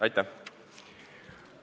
Aitäh!